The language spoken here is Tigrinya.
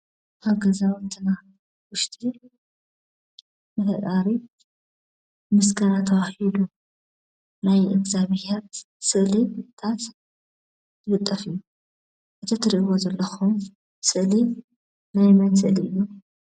ኣብ ገዛውትና ውሽጢ ንፍጣሪ ምስገና ተበሂሉ ናይ እዝገብሄር ስእልታት ዝልጠፍ እዩ። እቲ ትርእዎ ዘለኹም ስእሊ ናይ መን ስእሊ እዩ?